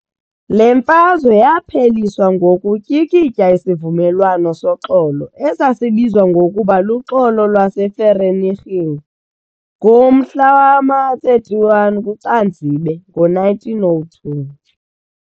Le mfazwe yapheliswa ngokutyikitya isivumelwano soxolo esasibizwa ngokuba luxolo lwase Vereeniging ngomahla wama-31 kuCanzibe ngo-1902.